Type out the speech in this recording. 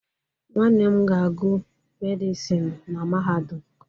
Nwanne m ga-agụ Medịsinu na Mahadum.